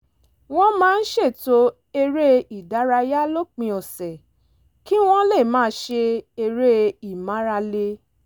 wọ́n máa ń ṣètò eré-ìdárayá lópin ọ̀sẹ̀ kí wọ́n lè máa ṣe eré ìmárale